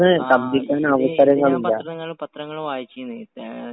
ങാ...ഇതേ..ഇത് ഞാൻ പത്രങ്ങളില് വായിച്ചീന്.